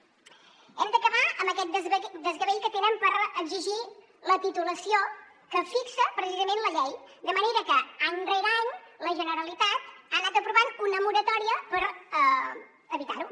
hem d’acabar amb aquest desgavell que tenen per exigir la titulació que fixa precisament la llei de manera que any rere any la generalitat ha anat aprovant una moratòria per evitar ho